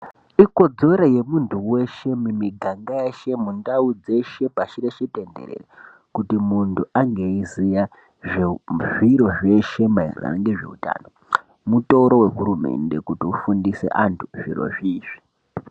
Ikodzero yemuntu weshe mumiganga yeshe, mundau dzeshe, pashi reshe tenderere kuti muntu ange eiziya zvezviro zveshe maererano ngezveutano. Mutoro wehurumende kuti ufundise antu zvirozvi izvi.